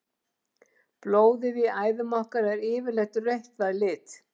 Blóðið í æðum okkar er yfirleitt rautt að lit.